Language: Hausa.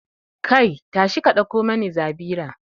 Kai, tashi ka dauko mani zabira